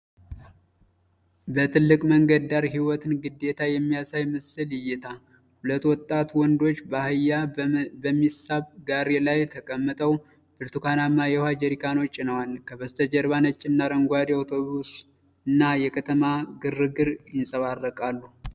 በትልቅ መንገድ ዳር የህይወትን ግዴታ የሚያሳይ ምስል ይታያል። ሁለት ወጣት ወንዶች በአህያ በሚሳብ ጋሪ ላይ ተቀምጠው ብርቱካናማ የውኃ ጀሪካኖች ጭነዋል። ከበስተጀርባ ነጭና አረንጓዴ አውቶቡስ እና የከተማ ግርግር ይንፀባረቃሉ።